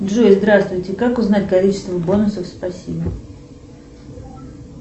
джой здравствуйте как узнать количество бонусов спасибо